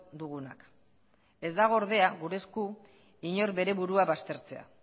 dugunak ez dago ordea gure esku inor bere burua baztertzea